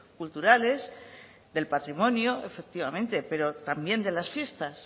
culturales del patrimonio efectivamente pero también de las fiestas